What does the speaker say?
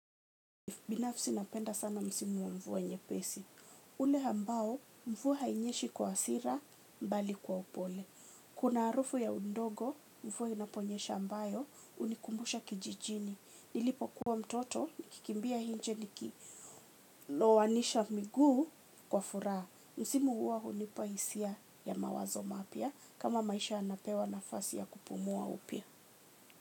Binafsi napenda sana msimu wa mvua nyepesi. Ule ambao mvua hainyeshi kwa hasira mbali kwa upole. Kuna harufu ya undogo mvua inaponyesha ambayo hunikumbusha kijijini. Nilipokuwa mtoto nikikimbia inje nikilowanisha miguu kwa furaha. Msimu huwa hunipahisia ya mawazo mapya kama maisha yanapewa nafasi ya kupumua upya.